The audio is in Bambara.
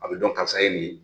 A bɛ dɔn karisa ye nin ye.